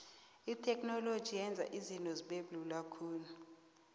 itheknoloji yenza izinto zibelula khulu